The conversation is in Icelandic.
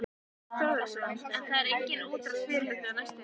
Þorbjörn Þórðarson: En það er engin útrás fyrirhuguð á næstunni?